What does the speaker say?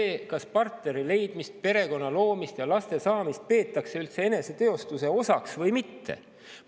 Tähtis on, kas partneri leidmist, perekonna loomist ja laste saamist peetakse üldse eneseteostuse osaks või mitte.